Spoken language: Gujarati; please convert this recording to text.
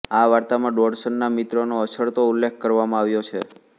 આ વાર્તામાં ડોડસનના મિત્રોનો અછડતો ઉલ્લેખ કરવામાં આવ્યો છે